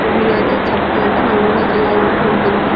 ఇది అయితే చెప్పాలంటే నల్గొండ జిల్లాలోనే ఉంటుంది.